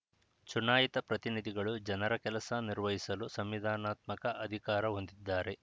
ಚುನಾಯಿತ ಪ್ರತಿನಿಧಿಗಳು ಜನರ ಕೆಲಸ ನಿರ್ವಹಿಸಲು ಸಂವಿಧಾನಾತ್ಮಕ ಅಧಿಕಾರ ಹೊಂದಿದ್ದಾರೆ